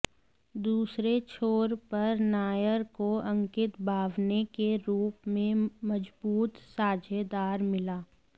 दूसरे छोर पर नायर को अंकित बावने के रूप में मजबूत साझेदार मिला